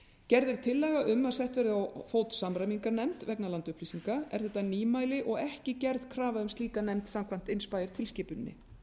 gerð er tillaga um að sett verði á fót samræmingarnefnd vegna landupplýsinga er þetta nýmæli og ekki gerð krafa um slíka nefnd samkvæmt inspire tilskipuninni